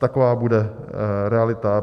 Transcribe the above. Taková bude realita.